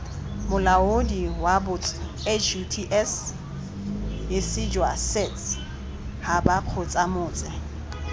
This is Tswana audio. molaodi wabots huts hisijwasets habakgotsamots